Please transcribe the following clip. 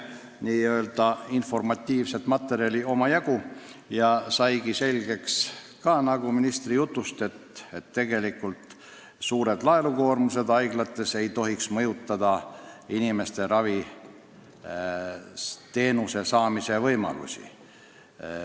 Nii-öelda informatiivset materjali oli omajagu ja ministri jutust selgus ka, et haiglate suured laenukoormused ei tohiks mõjutada inimeste võimalusi ravi saada.